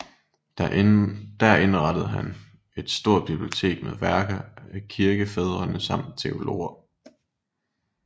Der indrettede han et stort bibliotek med værker af kirkefædrene og samtidige teologer